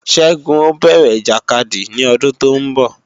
Ṣẹ́gun ó bẹ̀rẹ̀ ìjàkadì ní ọdún tóún bọ̀